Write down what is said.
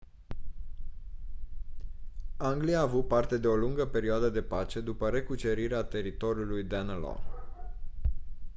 anglia a avut parte de o lungă perioadă de pace după recucerirea teritoriului danelaw